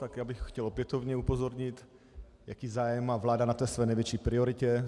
Tak já bych chtěl opětovně upozornit, jaký zájem má vláda na té své největší prioritě.